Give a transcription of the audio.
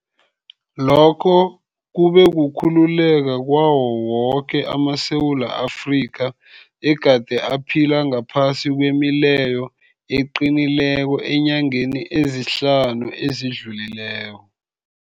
Lokhu kube kukhululeka kwawo woke amaSewula Afrika egade aphila ngaphasi kwemileyo eqinileko eenyangeni ezihlanu ezidlulileko.